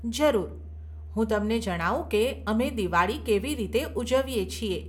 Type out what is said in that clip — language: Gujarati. જરૂર, હું તમને જણાવું કે અમે દિવાળી કેવી રીતે ઉજવીએ છીએ.